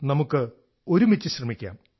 നമുക്കൊരുമിച്ചു ശ്രമിക്കാം